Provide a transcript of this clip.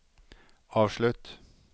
avslutt